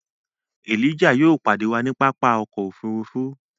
Elijah yóò padẹ wà ni pápá ọkọ̀ òfurufú